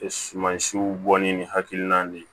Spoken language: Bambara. Sumansiw bɔ ni hakilina de ye